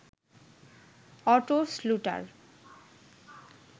auto শ্লুটার